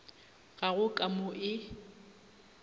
ga go ka mo e